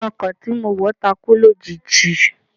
Ìjánu ọkọ̀ tí mo wọ̀ takú lójijì